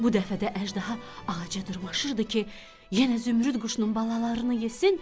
Bu dəfə də əjdaha ağaca dırmaşırdı ki, yenə zümrüd quşunun balalarını yesin.